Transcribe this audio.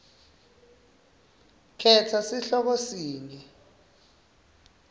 khetsa sihloko sinye